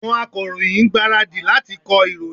Àwọn Akọ̀ròyìn ń gbáradì láti kọ ìròyìn